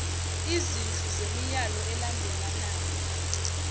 izinhlu zemiyalo elandelanayo